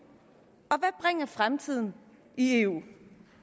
og fremtiden i eu